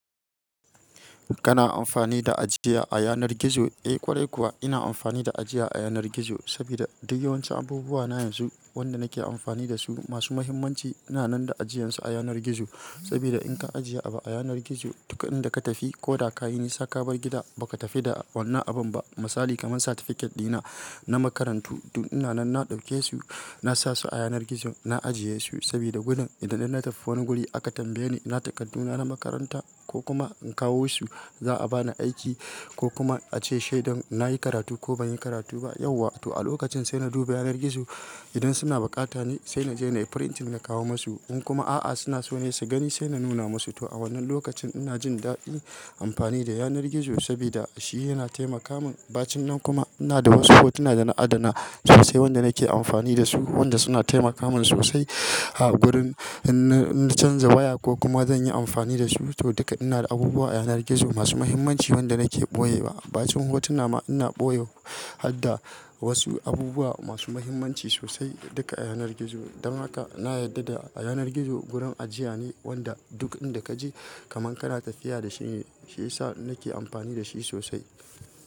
Kana amfani da ajiya a yanar gizo? Eh ƙwarai kuwa ina amfani da ajiya a yanar gizo sabida duk yawancin abubuwa na yanzu wanda nake amfani da su masu muhimmanci ina nan da ajiyarsu a yanar gizo. Sabida in ka ajiye abu a yanar gizo, duk inda ka tafi ko da ka yi nisa ka bar gida ba ka tafi da wannan abun ba. Misali kaman certificate dina na makarantu duk ina nan na ɗauke su, na sa su a yanar gizo na ajiye su sabida gudan idan na tafi wani guri aka tambaye ni ina takardu na na makaranta ko kuma in kawo su za'a bani aiki ko kuma a ce shaidan nayi karatu ko banyi karatu ba yau wa to a lokacin sai na duba yanar gizo. Idan suna bukata ne sai na je nayi printing na kawo musu. In kuma a'a suna so ne su gani sai na nuna musu. To a wannan lokacin ina jin daɗi amfani da yanar gizo sabida shi yana taimaka min. Bacin nan kuma ina da hotspot ina na adana sosai wanda nake amfani da su wanda suna taimaka min sosai a gurin in na canja waya ko kuma zan yi amfani da su. To duka ina da abubuwa a yanar gizo masu muhimmanci wanda nake ɓoye wa. Bacin hotuna ma ina ɓoye har da wasu abubuwa masu muhimmanci sosai duka a yanar gizo. Dan haka na yarda da a yanar gizo gurun ajiya ne wanda duk inda ka je kaman kana tafiya da shi ne, shi yasa nake amfani da shi sosai.